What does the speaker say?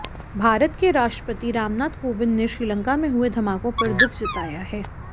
भारत के राष्ट्रपति रामनाथ कोविंद ने श्रीलंका में हुए धमाकों पर दुख जताया है